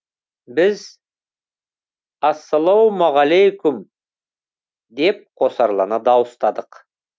біз ассалаумағалүйкүм деп қосарлана дауыстадық